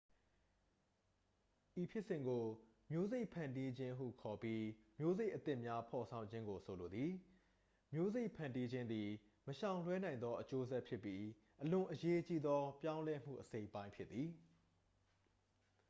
ဤဖြစ်စဉ်ကို မျိုးစိတ်ဖန်တီးခြင်းဟုခေါ်ပြီး မျိုးစိတ်အသစ်များ ဖော်ဆောင်ခြင်းကို ဆိုလိုသည် မျိုးစိတ်ဖန်တီးခြင်းသည် မရှောင်လွှဲနိုင်သော အကျိုးဆက်ဖြစ်ပြီး အလွန်အရေးကြီးသော ပြောင်းလဲမှု အစိတ်အပိုင်းဖြစ်သည်